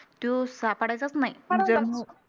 तो सापडायचाच नाही